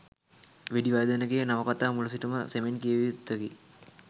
වෙඩිවර්ධනගේ නවකතාව මුල සිටම සෙමෙන් කියවිය යුත්තකි.